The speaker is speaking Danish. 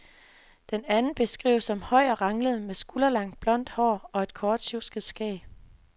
Den anden beskrives som høj og ranglet med skulderlangt, blondt hår og et kort, sjusket skæg.